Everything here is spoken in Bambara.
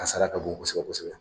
Kasara ka bon kosɛbɛ kosɛbɛ